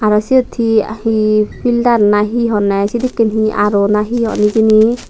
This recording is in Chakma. aro siyot hee hee fildar na hee honney sedekken R_O nahi hon hijeni.